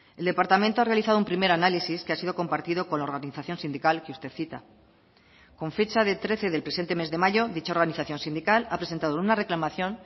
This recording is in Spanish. el departamento ha realizado un primer análisis que ha sido compartido con la organización sindical que usted cita con fecha de trece del presente mes de mayo dicha organización sindical ha presentado una reclamación